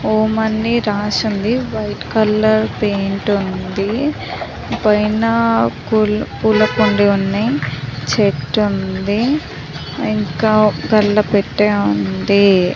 ఓం అని రాసి ఉంది వైట్ కలర్ పెయింట్ ఉంది పైనా పుల-పూల కుండి వున్నాయి చెట్టు ఉంది ఇంకా గల్లపెట్టె ఉంది.